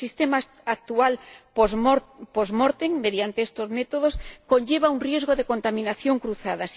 El sistema actual post mortem mediante estos métodos, conlleva un riesgo de contaminación cruzada.